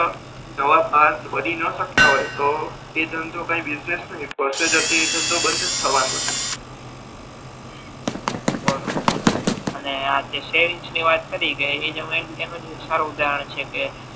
દવત માણસ બની ના શકતા હોય તો એ ધંધો કઈ બિસનેસ નહી પ્રોસેજર થી એ ધંધો બંધ જ થવાનો છે હમ હમ